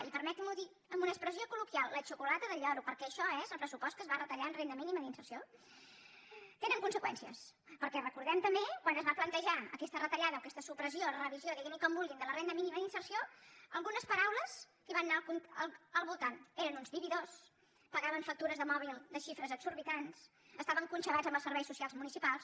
i permetin m’ho dir amb una expressió col·loquial la xocolata del lloro perquè això és el pressupost que es va retallar en renda mínima d’inserció tenen conseqüències perquè recordem també quan es va plantejar aquesta retallada o aquesta supressió revisió diguin li com vulguin de la renda mínima d’inserció algunes paraules que van anar al voltant eren uns vividors pagaven factures de mòbil de xifres exorbitants estaven conxabats amb els serveis socials municipals